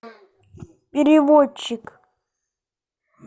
переводчик